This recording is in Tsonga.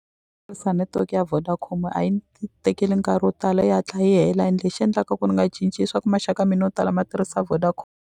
netiweke ya Vodacom a yi ni tekeli nkarhi wo tala yi hatla yi hela ende lexi endlaka ku ni nga cinci i swa ku maxaka mina yo tala ma tirhisa .